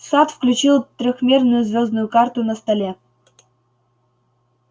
сатт включил трёхмерную звёздную карту на столе